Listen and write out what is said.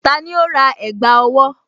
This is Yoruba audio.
Tani ó rà ẹ̀gbá owó?